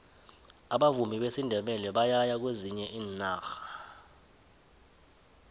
abavumi besindebele bayaya kwezinye iinarha